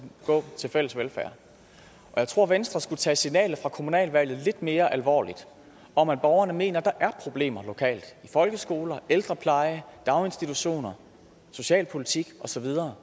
gå til fælles velfærd og jeg tror venstre skulle tage signalet fra kommunaludvalget lidt mere alvorligt om at borgerne mener at der er problemer lokalt i folkeskoler ældrepleje daginstitutioner socialpolitik og så videre